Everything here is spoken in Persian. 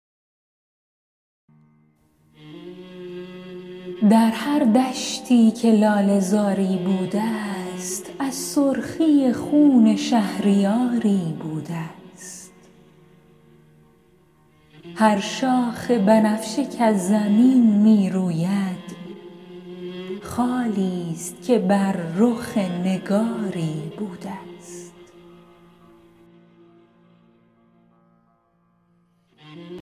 در هر دشتی که لاله زاری بوده ست از سرخی خون شهریاری بوده ست هر شاخ بنفشه کز زمین می روید خالی ست که بر رخ نگاری بوده ست